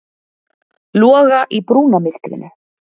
Loga í brúnamyrkrinu.